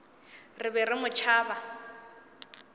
re be re mo tšhaba